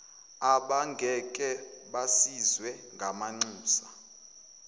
abangeke basizwe ngamanxusa